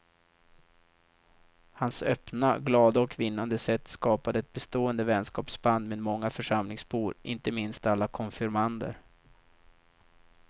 Hans öppna, glada och vinnande sätt skapade ett bestående vänskapsband med många församlingsbor, inte minst alla konfirmander.